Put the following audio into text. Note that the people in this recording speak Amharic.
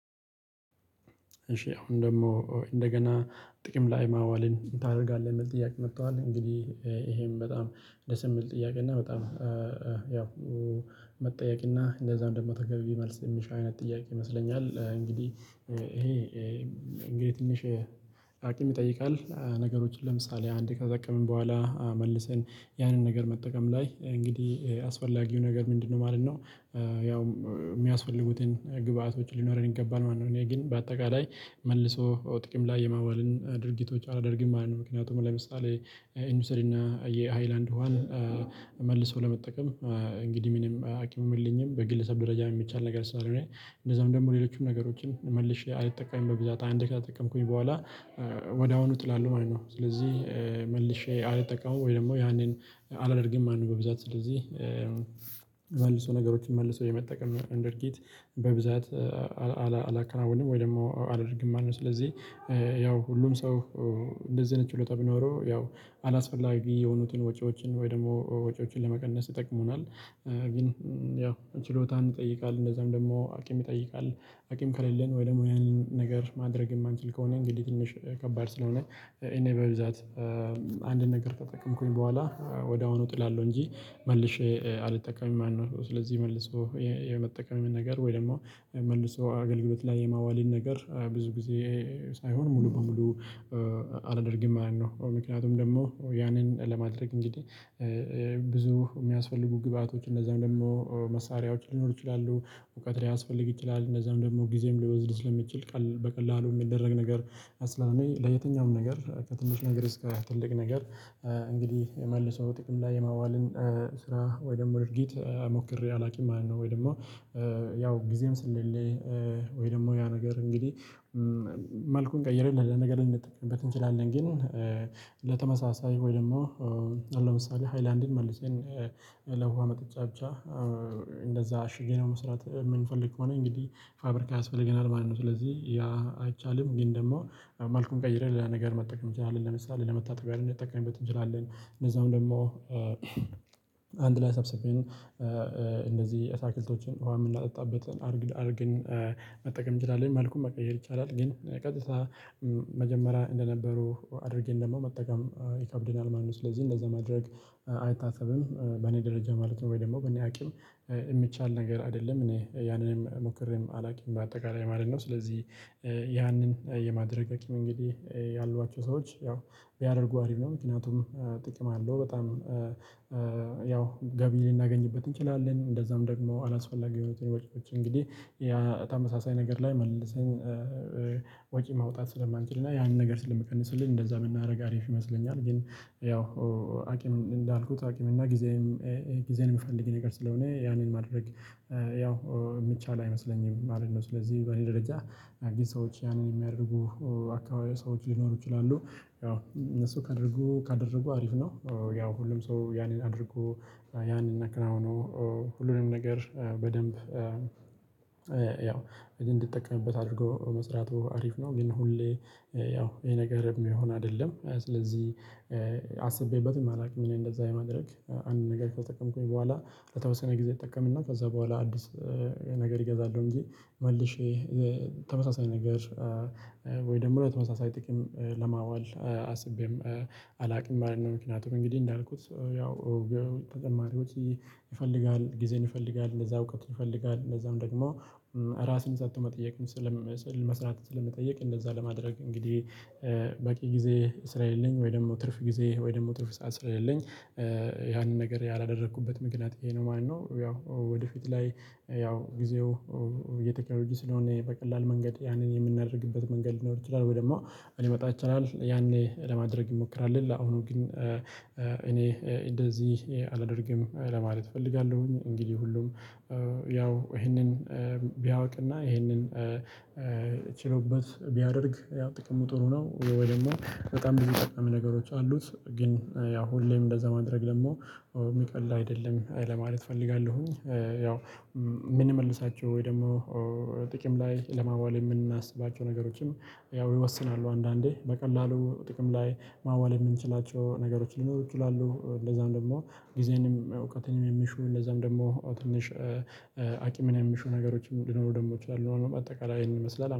እሺ አሁን ደሞ እንደገና ጥቅም ላይ ማዋልን ታረጋለህ የሚል ጥያቄ መጥቷል እንግዲህ እሄም በጣም እንደ ስም ጥያቄ እና በጣም ያው መጠየቅ እና እንደዛ እንደማታገቢ መልስ የሚሻ አይነት ጥያቄ ይመስለኛል። እንግዲህ እሄ እንግዲህ ትንሽ አቅም ይጠይቃል። ነገሮችን ለምሳሌ አንዴ ከጠቀምን በኋላ መልሰን ያንን ነገር መጠቀም ላይ እንግዲህ አስፈላጊው ነገር ምንድነው? ማለት ነው። ያው የሚያስፈልጉትን ግብአቶች ሊኖረን ይገባል ማለት ነው። እኔ ግን በአጠቃላይ መልሶ ጥቅም ላይ የማዋልን ድርጊቶች አላደርግም ማለት ነው። ምክንያቱም ለምሳሌ እንውሰድና የሃይላንድ ውሃን መልሰው ለመጠቀም እንግዲህ ምንም ሀኪም የለኝም። በግለሰብ ደረጃ የሚቻል ነገር ስላልሆነ እንደዛም ደግሞ ሌሎችም ነገሮችን መልሼ አልጠቀምም በብዛት አንድ ከተጠቀምኩኝ በኋላ ወዲያውኑ እጥላለው ማለት ነው። ስለዚህ መልሼ አልጠቀመውም ወይ ደግሞ ያንን አላደርግም ማለት ነው። በብዛት ስለዚህ መልሶ ነገሮችን መልሶ የመጠቀም እንደ ድርጊት በብዛት አላከናውንም ወይ ደግሞ አላደርግም ማለት ነው። ስለዚህ ያው ሁሉም ሰው እንደዚህ ኣይነት ችሎታ ቢኖረው ያው አላስፈላጊ የሆኑትን ወጪዎችን ወይ ደሞ ወጪዎችን ለመቀነስ ይጠቅሙናል። ግን ያው ችሎታን ይጠይቃል እንደዛም ደግሞ አቅም ይጠይቃል። አቅም ከሌለን ወይ ደሞ ያንን ነገር ማድረግ የማንችል ከሆነ እንግዲህ ትንሽ ከባድ ስለሆነ። እኔ በብዛት አንድን ነገር ከተጠቀምኩኝ በኋላ ወድያውኑ እጥላለው እንጂ መልሼ አልጠቀምም ማለት ነው። ስለዚህ መልሶ የመጠቀም ነገር ወይ ደሞ መልሶ አገልግሎት ላይ የማዋልን ነገር ብዙ ጊዜ ሳይሆን ሙሉ በሙሉ አላደርግም ማለት ነው። ምክንያቱም ደሞ ያንን ለማድረግ እንግዲህ ብዙ የሚያስፈልጉ ግብአቶች እንደዛም ደሞ መሳሪያዎች ሊኖሩ ይችላሉ እውቀት ሊያስፈልግ ይችላል። እንደዛም ደግሞ ጊዜም ሊወስድ ስለሚችል በቀላሉ የሚደረግ ነገር አስላሜ ለየትኛውም ነገር ከትንሽ ነገር እስከ ትልቅ ነገር እንግዲህ የመልሰው ጥቅም ላይ የማዋልን ስራ ወይ ደሞ ድርጊት ሞክሬ አላቅም ማለት ነው። ወይ ደሞ ያው ጊዜም ስለለሌኝ ወይ ደሞ ያ ነገር እንግዲህ መልኩን ቀይረህ ለነገር እንጠቀምበት እንችላለን ግን። በተመሳሳይ ወይ ደሞ ኣሁን ለምሳሌ ሃይላንድን መልሰን ለውሃ መጠጫ ብቻ እንደዛ ኣሽገነው መስራት የምንፈልግ ከሆነ እንግዲህ ፋብሪካ ያስፈልገናል ማለት ነው። ስለዚህ ያ አይቻልም። ግን ደሞ መልኩን ቀይረን ሌላ ነገር መጠቀም እንችላለን ለምሳሌ ለመታጠብያን ልንጠቀምበት እንችላለን። እንደዛውም ደሞ አንድ ላይ ሰብስበን እንደዚህ ኣታክልቶችን ውሃ የምናጠጣበትን አድርግ አርገን መጠቀም እንችላለን መልኩን መቀየር ይቻላል። ግን ቀጥታ መጀመሪያ እንደነበሩ አድርገን ደሞ መጠቀም ይከብደናል ማለት ነው። ስለዚህ እንደዛ ማድረግ አይታሰብም በኔ ደረጃ ማለት ነው። ወይ ደሞ በኔ ኣቅም የሚቻል ነገር አይደለም እኔ ያንንም ሞክሬም አላቅም በአጠቃላይ ማለት ነው። ስለዚህ ያንን የማድረግ አቅም እንግዲህ ያሏቸው ሰዎች ያው ቢያደርጉ አሪፍ ነው። ምክንያቱም ጥቅም አለው በጣም ያው ገቢ ልናገኝበት እንችላለን እንደዛም ደግሞ አላስፈላጊ የሆኑትን ወጪዎች እንግዲህ ተመሳሳይ ነገር ላይ መልሰን ወጪ ማውጣት ስለማንችልና ያንን ነገር ስለምቀንስልን እንደዛ ብናረግ አሪፍ ይመስለኛል። ግን ያው አቅም እንዳልኩት አቅም እና ጊዜም ጊዜን የምፈልግ ነገር ስለሆነ ያንን ማድረግ ያው የሚቻል አይመስለኝም ማለት ነው። ስለዚህ በዚህ ደረጃ አዲስ ሰዎች ያንን የሚያደርጉ አካባቢ ሰዎች ሊኖሩ ይችላሉ ያው እነሱ ካደረጉ ካደረጉ አሪፍ ነው። ያው ሁሉም ሰው ያንን አድርጎ ያንን ኣካናውኖ ሁሉንም ነገር በደንብ ያው እንድጠቀምበት አድርጎ መስራቱ አሪፍ ነው። ግን ሁሌ ያው ይሄ ነገር የሚሆን አይደለም። ስለዚህ አስቤበትም አላቅም። እኔ እንደዛ የማድረግ አንድ ነገር ከተጠቀምኩኝ በኋላ ለተወሰነ ጊዜ እጠቀምና ከዛ በኋላ አዲስ ነገር እገዛለው። እንጂ መልሼ እሄ ተመሳሳይ ነገር ወይ ደሞ በተመሳሳይ ጥቅም ለማዋል አስቤም አላቅም ማለት ነው። ምክንያቱም እንግዲህ እንዳልኩት ያው ተጠማሪዎች ይፈልጋል ጊዜን ይፈልጋል እንደዛው እውቀት ይፈልጋል። እንደዛም ደግሞ ራስን ሰጥቶ መጠየቅን ስለም ስዕል መስራት ስለሚጠየቅ እንደዛ ለማድረግ እንግዲህ በቂ ጊዜ ስራ የለኝ ወይ ደሞ ትርፍ ጊዜ ወይ ደግሞ ትርፍ ሰዓት ስለሌለኝ ያንን ነገር ያላደረኩበት ምክንያት እሄ ነው ማለት ነው። ያው ወደፊት ላይ ያው ጊዜው የቴክኖሎጂ ስለሆነ በቀላል መንገድ ያንን የምናደርግበት መንገድ ሊኖር ይችላል ወይ ደሞ እንዲመጣ ይቻላል ያኔ ለማድረግ እንሞክራለን። ለአሁኑ ግን እኔ እንደዚህ አላደርግም ለማለት እፈልጋለሁኝ። እንግዲህ ሁሉም ያው ይሄንን ቢያውቅና ይሄንን ችሎበት ቢያደርግ ያው ጥቅሙ ጥሩ ነው። ወይ ደሞ በጣም ብዙ ጠቃሚ ነገሮች አሉት። ግን ያው ሁሌም እንደዛ ማድረግ ደሞ የሚቀልል አይደለም ለማለት እፈልጋለሁኝ። ያው የምንመልሳቸው ወይ ደሞ ጥቅም ላይ ለማዋል የምናስባቸው ነገሮችን ያው ይወስናሉ አንዳንዴ በቀላሉ ጥቅም ላይ ማዋል የምንችላቸው ነገሮች ሊኖሩ ይችላሉ። እንደዛም ደግሞ ጊዜንም እውቀትንም የሚሹ እንደዛም ደግሞ ትንሽ አቅምን የሚሹ ነገሮችን ሊኖሩ ደግሞ ይችላሉ። አጠቃላይ ይሄንን ይመስላል